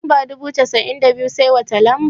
Daga lamba dubu biyu da cassa'in da biyu, sai wata lamba?